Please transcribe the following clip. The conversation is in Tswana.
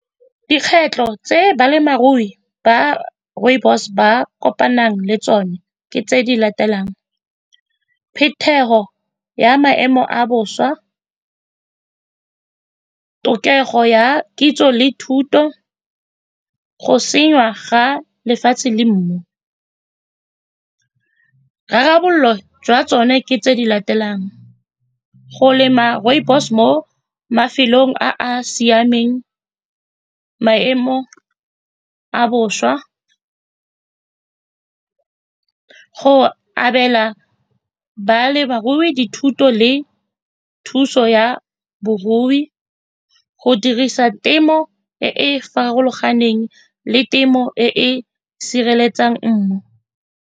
Dikgwetlho tse balemirui ba rooibos ba kopanang le tsone ke tse di latelang, phetogo ya maemo a bosa, tlhokego ya kitso le thuto go ga lefatshe le mmu. Tharabololo jwa tsone ke tse di latelang, go lema rooibos mo mafelong a a siameng maemo a bosa, go abela balebarui dithuto le thuso ya borui, go dirisa temo e e farologaneng le temo e e sireletsang mmu.